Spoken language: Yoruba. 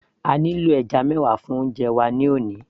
a nílò ẹja mẹwa fún oúnjẹ wa ní òní